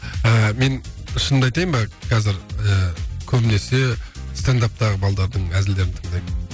ыыы мен шынымды айтайын ба қазір ыыы көбінесе стендаптағы балдардың әзілдерін тыңдаймын